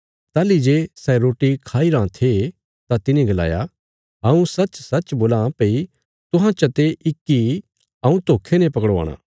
ताहली जे सै रोटी खाईराँ थे तां तिने गलाया हऊँ सचसच बोलां भई तुहां चते इक्की हऊँ धोखे ने पकड़वाणा